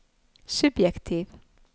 subjektiv